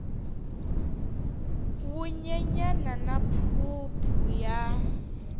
wu nyenyana na phuphu ya